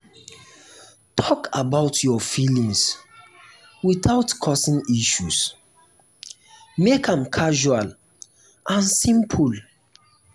talk about your feelings without causing issues; make am casual and simple.